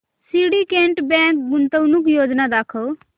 Syndicate Bank गुंतवणूक योजना दाखव